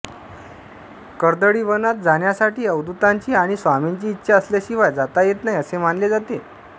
कर्दळीवनात जाण्यासाठी अवधूतांची आणि स्वामींची इच्छा असल्याशिवाय जाता येत नाही असे मानले जाते